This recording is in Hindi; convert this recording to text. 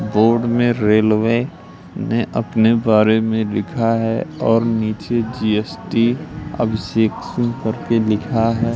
बोर्ड में रेलवे ने अपने बारे में लिखा है और नीचे जीएसटी अभिषेक सिंह करके लिखा है।